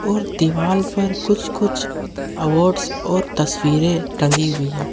और दीवाल पर कुछ कुछ अवार्ड्स और तस्वीरे टंगी हुई है।